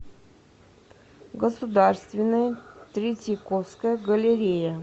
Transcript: государственная третьяковская галерея